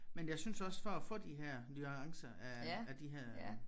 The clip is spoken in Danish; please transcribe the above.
Men jeg synes også for at få de her nuancer af af de her